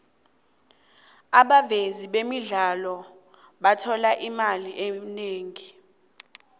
abavezi bemidlalo bathola imali eningi